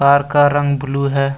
Car का रंग blue है।